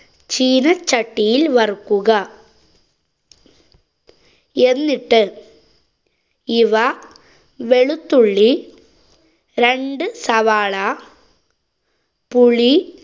ചീനച്ചട്ടിയില്‍ വറുക്കുക. എന്നിട്ട് ഇവ വെളുത്തുള്ളി, രണ്ടു സവാള, പുളി